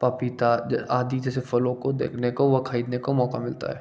पपीता आदि जैसे फलों को देखने को व खरीदने को मौका मिलता है|